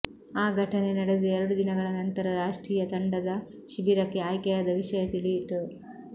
ಆ ಘಟನೆ ನಡೆದು ಎರಡು ದಿನಗಳ ನಂತರ ರಾಷ್ಟ್ರೀಯ ತಂಡದ ಶಿಬಿರಕ್ಕೆ ಆಯ್ಕೆಯಾದ ವಿಷಯ ತಿಳಿಯಿತು